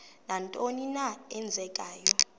nantoni na eenzekayo